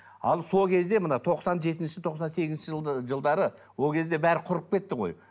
ал сол кезде мына тоқсан жетінші тоқсан сегізінші жылдары ол кезде барлығы құрып кетті ғой